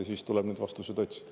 Ja siis tuleb neid vastuseid otsida.